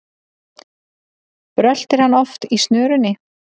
Bröltir hann oft í snörunni,